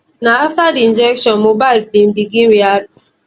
na afta di injection mohbad bin begin react